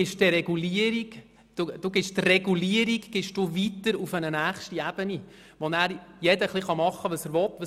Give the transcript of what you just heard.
Sie geben die Regulierung an eine nächste Ebene weiter, wo dann jeder ein bisschen das machen kann, was er will.